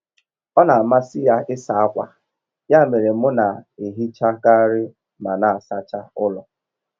Ọ na amasị ya ịsa akwa, ya mere mụ na ehichakari ma na asacha ụlọ